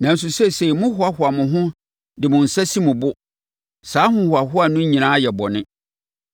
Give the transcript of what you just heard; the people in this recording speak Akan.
Nanso, seesei mohoahoa mo ho de mo nsa si mo bo; saa ahohoahoa no nyinaa yɛ bɔne.